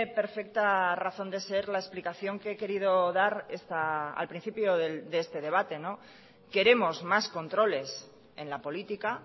perfecta razón de ser la explicación que he querido dar al principio de este debate queremos más controles en la política